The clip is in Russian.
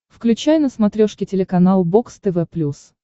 включай на смотрешке телеканал бокс тв плюс